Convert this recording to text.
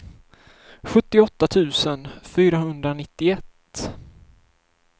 sjuttioåtta tusen fyrahundranittioett